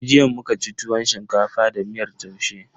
Jiya muka ci tuwon shinkafa da miyar taushe.